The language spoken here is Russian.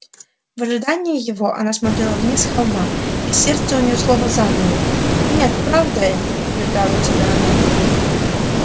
в ожидании его она смотрела вниз с холма и сердце у неё словно замерло нет правда это убеждала тебя она